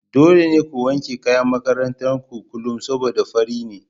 Dole ne ku wanke kayan makarantar ku kullum saboda fari ne.